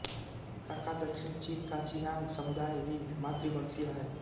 काकादक्षिणी चीन का चिआंग समुदाय भी मातृवंशीय है